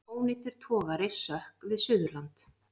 Ónýtur togari sökk við Suðurland